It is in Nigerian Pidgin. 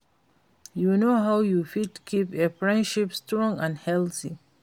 You know how you fit keep a friendship strong and healthy?